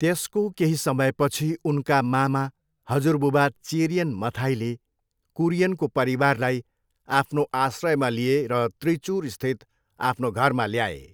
त्यसको केही समयपछि उनका मामा हजुरबुबा चेरियन मथाईले कुरियनको परिवारलाई आफ्नो आश्रयमा लिए र त्रिचुरस्थित आफ्नो घरमा ल्याए।